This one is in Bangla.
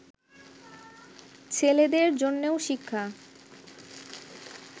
ছেলেদের জন্যও শিক্ষা